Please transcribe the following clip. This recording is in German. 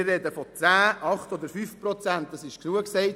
Wir sprechen von 10, 8 oder 5 Prozent Kürzung.